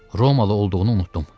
Romalı olduğunu unutdum.